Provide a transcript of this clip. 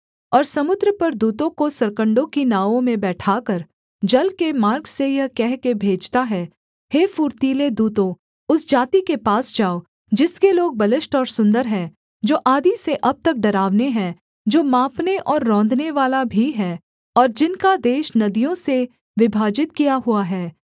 और समुद्र पर दूतों को सरकण्डों की नावों में बैठाकर जल के मार्ग से यह कह के भेजता है हे फुर्तीले दूतों उस जाति के पास जाओ जिसके लोग बलिष्ठ और सुन्दर हैं जो आदि से अब तक डरावने हैं जो मापने और रौंदनेवाला भी हैं और जिनका देश नदियों से विभाजित किया हुआ है